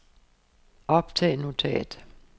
optag notat